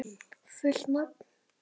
Fullt nafn?